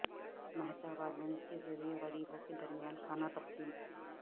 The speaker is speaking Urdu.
مہتاب عالم کے ذریعہ غریبوں کے درمیان کھانا تقسیم